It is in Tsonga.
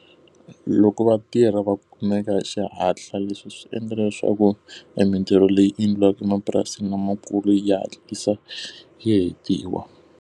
Loko vatirhi va kumeka xihatla leswi swi endlela leswaku e mintirho leyi endliwaka emapurasini lamakulu ya hatlisa yi hetiwa.